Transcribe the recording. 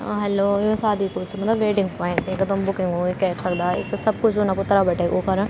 अ hello यु सादी कु च मलब वेडिंग पॉइंट येका तुम बुकिंग वूकिंग कैर सकदा यख सब कुछ उन अपर तरफ बटे उकरण।